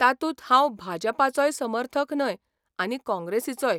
तातूंत हांव भाजपाचोय समर्थक न्हय आनी काँग्रेसीचोय.